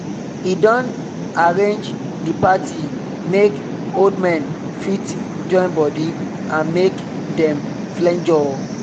he don arrange the party make old men fit join body and make dem flenjor